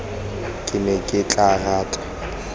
ke ne ke tla rata